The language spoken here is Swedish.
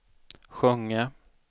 sjunga